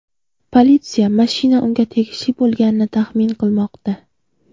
Politsiya mashina unga tegishli bo‘lganini taxmin qilmoqda.